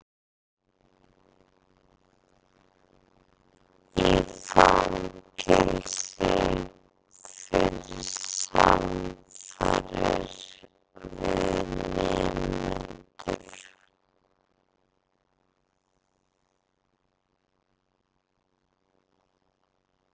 Í fangelsi fyrir samfarir við nemendur